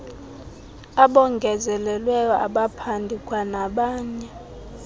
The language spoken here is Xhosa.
abongezelelweyo abaphandi kwanabanye